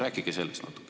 Rääkige sellest natuke.